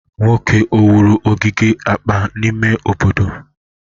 Nwoke a wuru ogige akpa n'ime obodo?